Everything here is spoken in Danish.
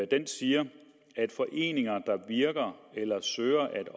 den siger foreninger der virker eller søger at